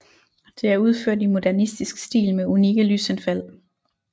Det er udført i modernistisk stil med unikke lysindfald